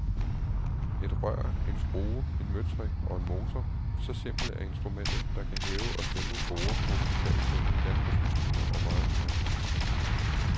Et rør, en skrue, en møtrik og en motor, så simpelt er instrumentet, der kan hæve og sænke borde, hospitalssenge, landbrugsmaskiner og meget mere.